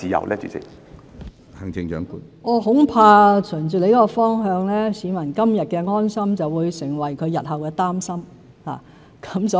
循着謝議員所述的方向，恐怕市民今日的安心會成為他們日後的擔心。